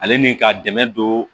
Ale ni ka dɛmɛ don